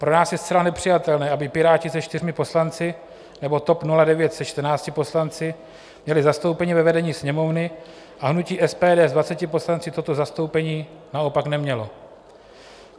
Pro nás je zcela nepřijatelné, aby Piráti se 4 poslanci nebo TOP 09 se 14 poslanci měli zastoupení ve vedení Sněmovny, a hnutí SPD s 20 poslanci toto zastoupení naopak nemělo.